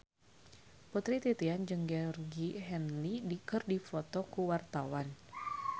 Putri Titian jeung Georgie Henley keur dipoto ku wartawan